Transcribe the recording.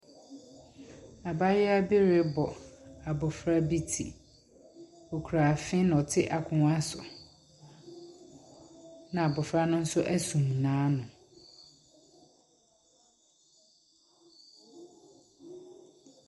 Abaayewa bi rebɔ abofra bi ti. Okura afe na ɔte akonnwa so, ɛna abofra no nso asum n'ano.